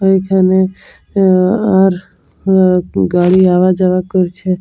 এইখানে আয়া আর আর একটু গাড়ি আওয়া যাওয়া করছে ।